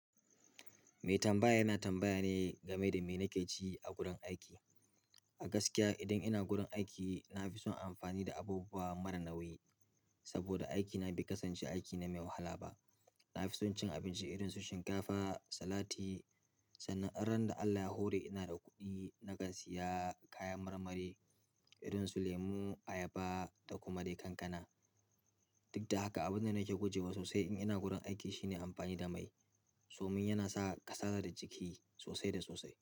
Mai tambaya yana tambaya ne game da me nake ci a gurin aiki. A gaskiya idan ina gurin aiki na fi son amfani da abubuwa mara nauyi saboda aikina bai kasance aiki ne mai wahala ba. Na fi son cin abinci irin su shinkafa, salati sannan kuma ranar da Allah ya hore inada kuɗi nakan siya kayan marmari irin su lemu, ayaba da kuma dai kankana. Duk da haka abin da nake guje wa sosai in ina gurin aiki shine amfani da mai. Domin yana sa kasala da jiki sosai da sosai.